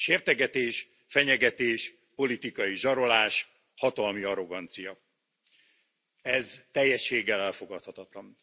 Sértegetés, fenyegetés, politikai zsarolás, hatalmi arrogancia. Ez teljességgel elfogadhatatlan.